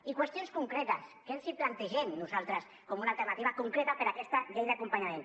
i qüestions concretes que els plantegem nosaltres com una alternativa concreta per a aquesta llei d’acompanyament